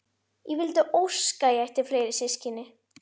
Ég vildi óska að ég ætti fleiri systkini.